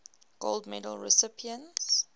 gold medal recipients